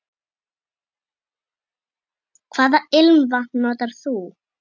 Hvaða ilmvatn notar þú?